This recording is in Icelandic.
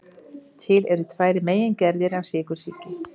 Til eru tvær megingerðir af sykursýki.